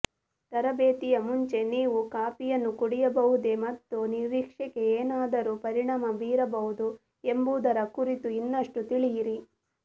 ತರಬೇತಿಯ ಮುಂಚೆ ನೀವು ಕಾಫಿಯನ್ನು ಕುಡಿಯಬಹುದೆ ಮತ್ತು ನಿರೀಕ್ಷೆಗೆ ಏನಾದರೂ ಪರಿಣಾಮ ಬೀರಬಹುದು ಎಂಬುದರ ಕುರಿತು ಇನ್ನಷ್ಟು ತಿಳಿಯಿರಿ